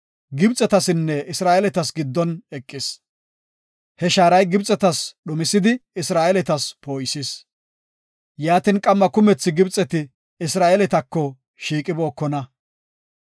Gibxetasinne Isra7eeletas giddon eqis. He shaaray Gibxetas dhumisidi, Isra7eeletas poo7isis. Yaatin qamma kumethi Gibxeti Isra7eeletako shiiqibookona.